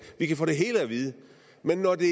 vi kan få det hele at vide men når det